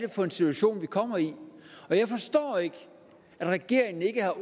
for en situation vi kommer i jeg forstår ikke at regeringen ikke har